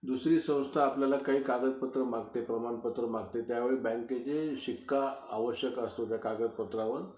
दुसरी संस्था आपल्याला काही कागदपत्रं मागते, प्रमाणपत्र मागते, त्यावेळेस बँकेचे शिक्का आवश्यक असतो त्या कागदपत्रावर